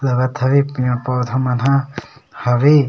लगत हवे की पेड़-पौधा मन ह हवे--